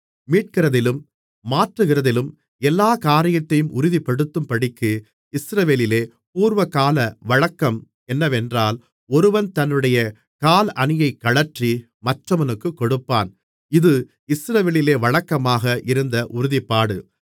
மீட்கிறதிலும் மாற்றுகிறதிலும் எல்லாக் காரியத்தையும் உறுதிப்படுத்தும்படிக்கு இஸ்ரவேலிலே பூர்வகால வழக்கம் என்னவென்றால் ஒருவன் தன்னுடைய காலணியைக் கழற்றி மற்றவனுக்குக் கொடுப்பான் இது இஸ்ரவேலிலே வழக்கமாக இருந்த உறுதிப்பாடு